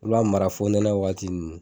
I b'a mara fo nɛnɛ waati nunnu.